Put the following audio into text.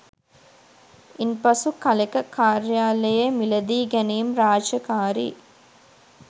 ඉන් පසු කලෙක කාර්යාලයේ මිලදීගැනීම් රාජකාරී